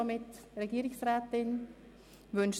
Möchte sich die Regierungsrätin äussern?